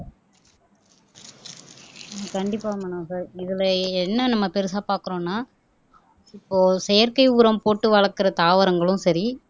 கண்டிப்பா மனோகர் இதுல என்ன நம்ம பெருசா பார்க்கிறோம்னா இப்போ செயற்கை உரம் போட்டு வளர்க்கிற தாவரங்களும் சரி